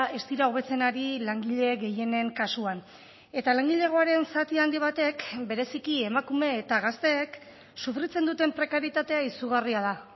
ez dira hobetzen ari langile gehienen kasuan eta langilegoaren zati handi batek bereziki emakume eta gazteek sufritzen duten prekarietatea izugarria da